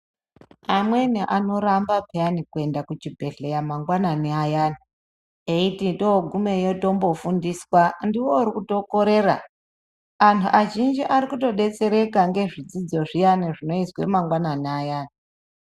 Amweni anoramba piyani kuenda kuchibhedhleya mangwanani ayani eiiti togumeyi tombofundiswa ndiwe urikutokorera antu azhinji arikutodetsereka ngezvidzidzo zviyana zvinoizwe mangwanani ayani.